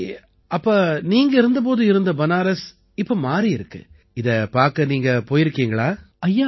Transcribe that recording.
சரி அப்ப நீங்க இருந்த போது இருந்த பனாரஸ் இப்ப மாறியிருக்கு இதைப் பார்க்க நீங்க போயிருக்கீங்களா